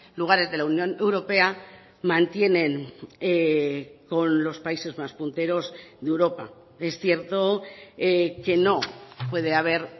lugares de la unión europea mantienen con los países más punteros de europa es cierto que no puede haber